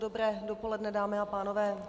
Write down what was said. Dobré dopoledne, dámy a pánové.